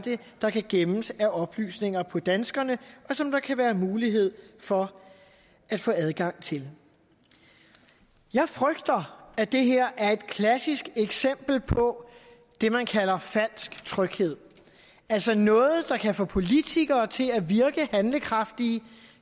der kan gemmes af oplysninger om danskerne og som der kan være mulighed for at få adgang til jeg frygter at det her er et klassisk eksempel på det man kalder falsk tryghed altså noget der kan få politikere til at virke handlekraftige